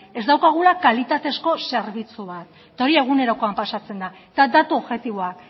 ez daukagula kalitatezko zerbitzu bat eta hori egunerokoan pasatzen da eta datu objektiboa